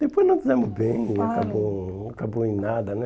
Depois nós nos demos bem, olha, e acabou acabou em nada, né?